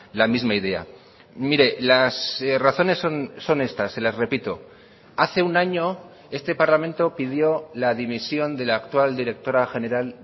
la misma idea mire las razones son estas se las repito hace un año este parlamento pidió la dimisión de la actual directora general